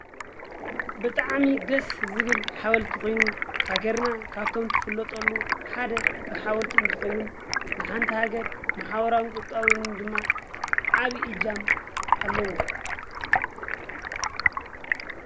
ብጣዕሚ ደስ ዝብል ሓወልቲ ኾይኑ ሃገርና ካብቶም ትፍለጠሉ ሓደ ብሓወልቲ እንትኸውን ንሃንቲ ሃገር ማሕበራውን ቁጠባውን ድማ ዓብይ እጃም ኣለዎ::